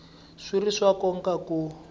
swi ri swa nkoka ku